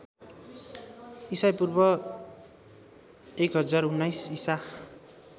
ईपू १०१९ ईसा